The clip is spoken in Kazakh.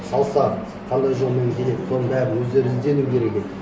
салса қандай жолмен келеді соның бәрін өздері іздену керек еді